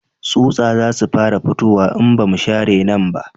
Tsutsa za su fara fitowa in ba mu share nan ba